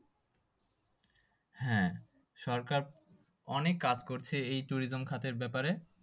হ্যাঁ সরকার অনেক কাজ করছে এই tourism খাতের ব্যাপারে।